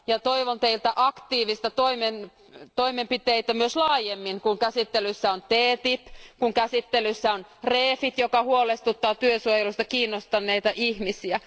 Ja toivon teiltä aktiivisia toimenpiteitä myös laajemmin, kun käsittelyssä on TTIP, kun käsittelyssä on REFIT, joka huolestuttaa työsuojelusta kiinnostuneita ihmisiä.